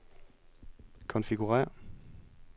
konfigurér